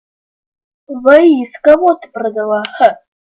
воис кого ты продала х